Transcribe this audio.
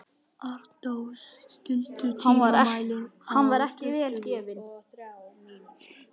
Arndór, stilltu tímamælinn á tuttugu og þrjár mínútur.